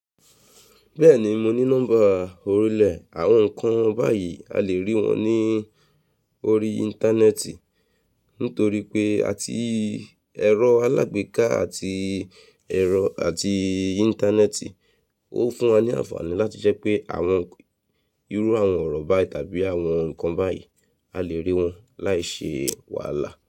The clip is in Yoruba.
Bẹ́ẹ̀ni mo ní nọ́ḿbà orílẹ̀ àwọn nǹkan báyìí, a lè rí wọn ní orí Íńtánẹ́ẹ̀tì nítorí pé àti ẹ̀rọ alágbèéká àti ẹ̀rọ àti Íńtánẹ́ẹ̀tì ó fún wa ní àǹfààní láti jẹ́ pé àwọn irú àwọn ọ̀rọ̀ báyìí tàbí àwọn nǹkan báyìí, a lè rí wọn láì ṣe wàhálà.